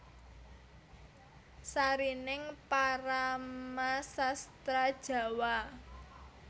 Sarining Paramasastra Djawa